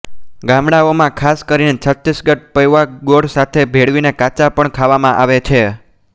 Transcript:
ગામડાઓમાંખાસ કરીને છત્તીસગઢ પૌંઆ ગોળ સાથે ભેળવીને કાચા પણ ખાવામાં આવે છે